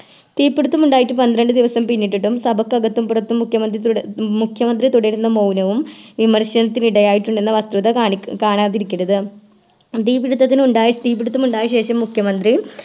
തീപ്പിടുത്തമുണ്ടായിട്ട് പന്ത്രണ്ട് ദിവസം പിന്നിട്ടിട്ടും സഭക്കകത്തും പുറത്തും മുഖ്യമന്ത്രി തുട മുഖ്യമന്ത്രി തുടരുന്ന മൗനവും വിമർശനത്തിനിടയായിട്ടുണ്ടെന്ന വസ്തുത കണി കാണാതിരിക്കരുത് തീപിടിത്തത്തിനുണ്ടായ തീപിടുത്തമുണ്ടായ ശേഷം മുഖ്യമന്ത്രി